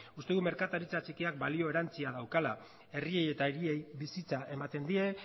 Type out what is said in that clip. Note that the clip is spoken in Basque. uste dut merkataritza txikiak balio erantsia daukala herriei eta hiriei bizitza ematen die